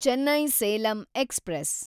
Chennai Salem express